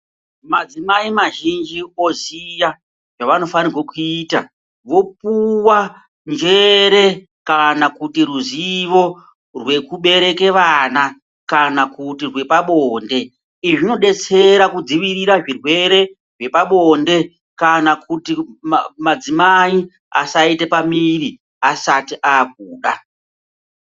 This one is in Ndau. Madzimai mazhinji oziya zvavanofanirwo kuita. Vopuwa njere kana kuti ruzivo rwekubereke vana kana kuti rwepabonde. Izvi zvinodetsera kudzivirira zvirwere zvepabonde kana kuti madzimai asaite pamuiri asati akuda.